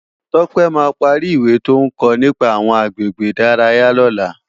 Tope má pàri iwé tó n kò nipá áwòn àgbégbé idàráyá lòlá